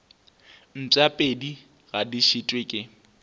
mpšapedi ga di šitwe ke